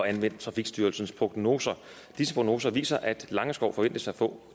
anvendt trafikstyrelsens prognoser disse prognoser viser at langeskov forventes at få